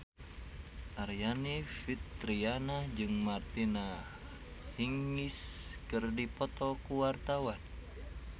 Aryani Fitriana jeung Martina Hingis keur dipoto ku wartawan